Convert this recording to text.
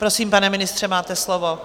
Prosím, pane předsedo, máte slovo.